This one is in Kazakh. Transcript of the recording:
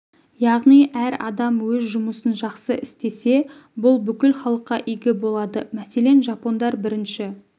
яғни әр адам өз жұмысын жақсы істесе бұл бүкіл халыққа игі болады мәселен жапондар бірінші